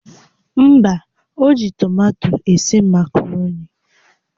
Mba, o ji tomato esi makaroni